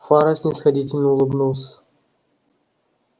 фара снисходительно улыбнулся